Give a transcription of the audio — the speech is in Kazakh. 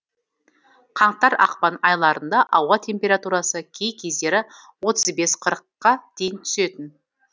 қаңтар ақпан айларында ауа температурасы кей кездері отыз бес қырыққа дейін түсетін